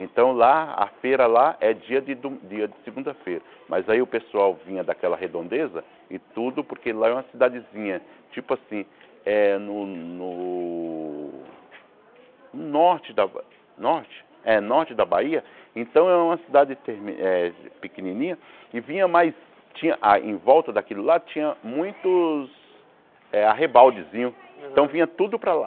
Então lá, a feira lá, é dia de do dia de segunda-feira, mas aí o pessoal vinha daquela redondeza e tudo, porque lá é uma cidadezinha, tipo assim, é no no no norte da Ba norte é norte da Bahia, então é uma cidade termi eh pequenininha, e vinha mais tinha ah, em volta daquilo lá tinha muitos arrebaldezinhos, então vinha tudo para lá.